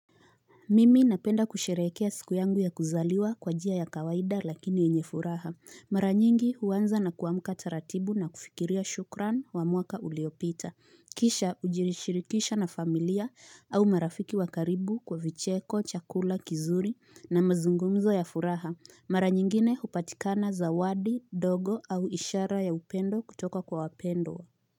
Mimi napenda kusherehekea siku yangu ya kuzaliwa kwa njia ya kawaida lakini yenye furaha. Mara nyingi, huanza na kuamka taratibu na kufikiria shukran wa mwaka uliopita. Kisha kujirishirikisha na familia au marafiki wa karibu kwa vicheko, chakula, kizuri na mazungumzo ya furaha. Mara nyingine hupatikana zawadi, ndogo au ishara ya upendo kutoka kwa wapendo.